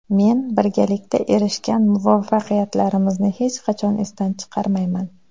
Men birgalikda erishgan muvaffaqiyatlarimizni hech qachon esdan chiqarmayman.